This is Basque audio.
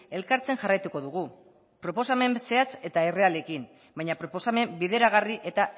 elkartzen jarraituko dugu proposamen zehatz eta errealekin baina proposamen bideragarri eta